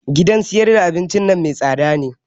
Gidan sayar da abinci nan mai tsada ne